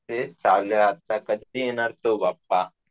आता कधी येणार तो बाप्पा ?